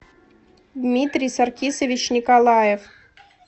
дмитрий саркисович николаев